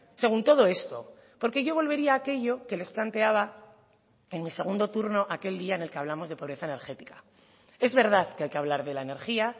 según todo esto porque yo volvería a aquello que les planteaba en mi segundo turno aquel día en el que hablamos de pobreza energética es verdad que hay que hablar de la energía